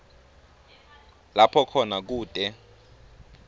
lapho khona kute